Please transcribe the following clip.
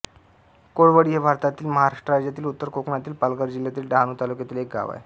कोळवळी हे भारतातील महाराष्ट्र राज्यातील उत्तर कोकणातील पालघर जिल्ह्यातील डहाणू तालुक्यातील एक गाव आहे